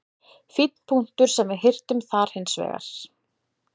Fínn punktur sem við hirtum þar hins vegar.